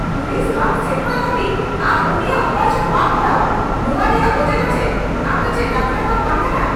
Police ᱵᱟᱝ ᱥᱮᱴᱮᱨᱚᱜ ᱫᱷᱟᱹᱵᱤᱡ ᱟᱢ ᱩᱱᱤᱭᱟᱜ ᱚᱯᱟᱨᱮᱥᱚᱱ ᱵᱟᱢ ᱠᱚᱨᱟᱣᱼᱟ ᱱᱚᱶᱟ ᱨᱮᱭᱟᱜ ᱚᱡᱮ ᱫᱚ ᱪᱮᱫ ? ᱟᱢ ᱫᱚ ᱪᱮᱫ ᱰᱟᱠᱴᱚᱨ ᱫᱚᱢ ᱵᱟᱝ ᱠᱟᱱᱟ ?